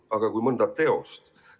Aga teoste puhul?